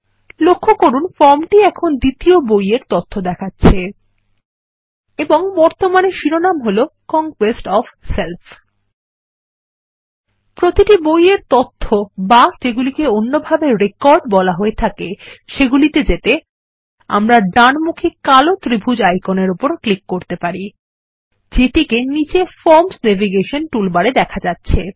লক্ষ্য করুন ফর্মটি এখন দ্বিতীয় বই এর তথ্য দেখাচ্ছে এবং বর্তমানে শিরোনাম হল কনকোয়েস্ট ওএফ সেল্ফ প্রতিটি বই এর তথ্যে বা যেগুলিকে অন্যভাবে রেকর্ড বলা হয়ে থাকে সেগুলিতে যেতে আমরা ডানমুখী কালো ত্রিভূজ আইকনের উপর ক্লিক করতে পারি যেটিকে নীচে ফর্মস নেভিগেশন টুলবারে দেখা যাচ্ছে